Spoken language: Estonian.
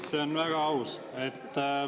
See on väga aus.